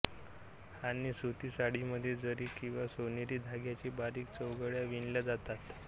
आणि सुती साडीमध्ये जरी किंवा सोनेरी धाग्याने बारीक चौकड्या विणल्या जातात